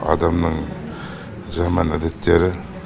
адамның жаман әдеттері